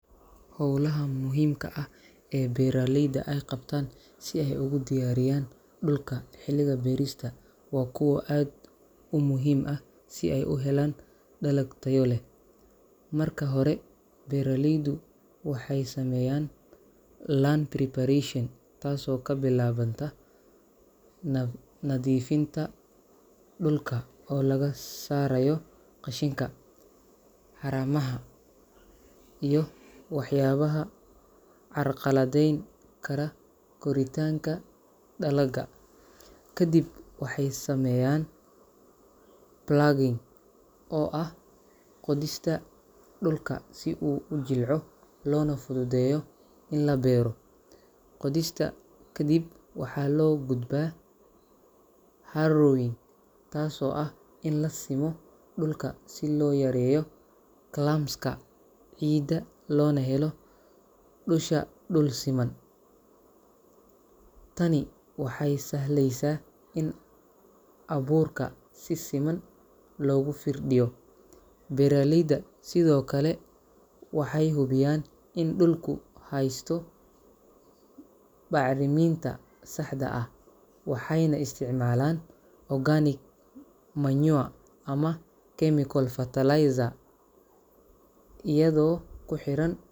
Hawlaha muhiimka ah ee beeralayda ay qabtaan si ay ugu diyaariyaan dhulka xilliga beerista waa kuwo aad u muhiim ah si ay u helaan dalag tayo leh. Marka hore, beeraleydu waxay sameeyaan land preparation, taasoo ka bilaabanta nadiifinta dhulka oo laga saarayo qashinka, haramaha, iyo waxyaabaha carqaladeyn kara koritaanka dalagga. Kadib waxay sameeyaan ploughing, oo ah qodista dhulka si uu u jilco loona fududeeyo in la beero. Qodista ka dib waxaa loo gudbaa harrowing, taasoo ah in la simo dhulka si loo yareeyo clumps-ka ciidda loona helo dusha dul siman. Tani waxay sahlaysaa in abuurka si siman loogu firdhiyo. Beeraleyda sidoo kale waxay hubiyaan in dhulku heysto bacriminta saxda ah, waxayna isticmaalaan organic manure ama chemical fertilizer iyadoo ku xiran .